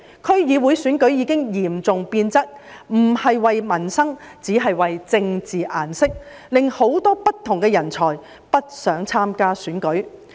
區議會選舉已經嚴重變質，不是為民生，只是為"政治顏色"，令很多不同人才不想參加選舉。